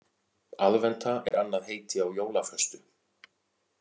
Aðventa er annað heiti á jólaföstu.